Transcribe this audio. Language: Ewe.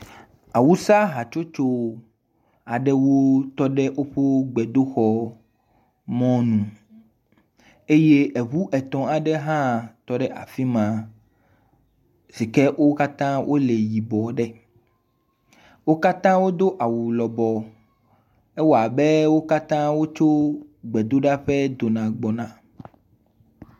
Awusa hatsotso aɖewo tɔ ɖe woƒe gbedoxɔ mɔnu eye ŋu etɔ̃ aɖe hã tɔ ɖe afi ma si ke wo katã wole yibɔ ɖe. Wo katã wodo awu lɔbɔ. Ewɔ abe wokatã wotso gbedoɖa ƒe dona gbɔna.